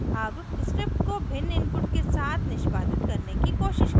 अब script को भिन्न input के साथ निष्पादित करने की कोशिश करते हैं